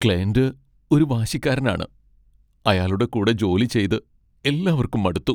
Client ഒരു വാശിക്കാരനാണ്, അയാളുടെ കൂടെ ജോലി ചെയ്ത് എല്ലാവർക്കും മടുത്തു.